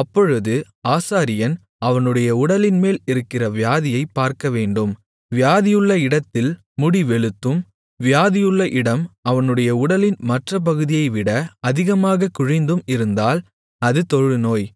அப்பொழுது ஆசாரியன் அவனுடைய உடலின்மேல் இருக்கிற வியாதியைப் பார்க்கவேண்டும் வியாதியுள்ள இடத்தில் முடி வெளுத்தும் வியாதியுள்ள இடம் அவனுடைய உடலின் மற்ற பகுதியைவிட அதிகமாகக் குழிந்தும் இருந்தால் அது தொழுநோய்